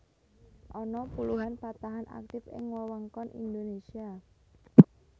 Ana puluhan patahan aktif ing wewengkon Indonésia